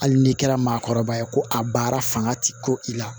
Hali n'i kɛra maakɔrɔba ye ko a baara fanga ti ku i la